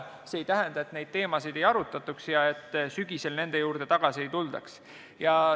See aga ei tähenda, et neid teemasid ei arutataks ja et sügisel nende juurde tagasi ei tuldaks.